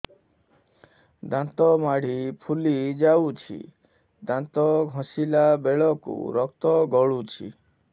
ଦାନ୍ତ ମାଢ଼ୀ ଫୁଲି ଯାଉଛି ଦାନ୍ତ ଘଷିଲା ବେଳକୁ ରକ୍ତ ଗଳୁଛି